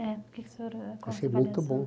O que o senhor... Achei muito bom.